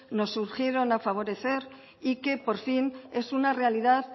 nos urgieron a favorecer y que por fin es una realidad